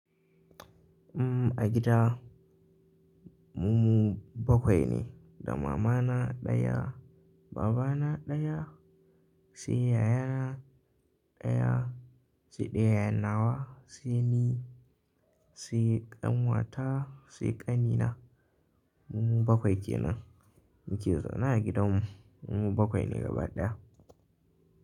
A gida mu bakwai ne, da mamana ɗaya, babana ɗaya, sai yayana ɗaya, sai ɗayan nawa, sai ni, sai ƙanwata, sai ƙanina. Mu bakwai kenan muke zaune a gidanmu, mu bakwai ne gaba ɗaya.